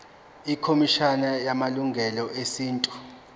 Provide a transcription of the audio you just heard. ikhomishana yamalungelo esintu